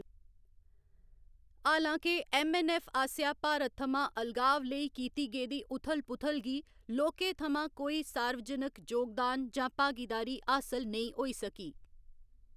हालां के ऐम्मऐन्नऐफ्फ आसेआ भारत थमां अलगाव लेई कीती गेदी उथल पुथल गी लोकें थमां कोई सार्वजनक जोगदान जां भागीदारी हासल नेईं होई सकी।